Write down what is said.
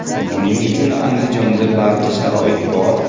Buning uchun Andijonda barcha sharoit bor.